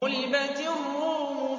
غُلِبَتِ الرُّومُ